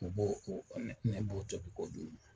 U b'o , ne b'o tobi ka dun.